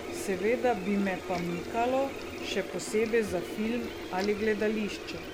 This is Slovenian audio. Seveda bi me pa mikalo, še posebej za film ali gledališče.